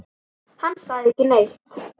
Hann sagði ekki neitt.